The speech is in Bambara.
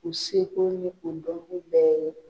U seko ni o dɔnko bɛɛ ye.